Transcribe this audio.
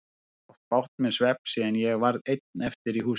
Ég hef átt bágt með svefn síðan ég varð ein eftir í húsinu.